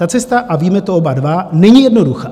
Ta cesta - a víme to oba dva - není jednoduchá.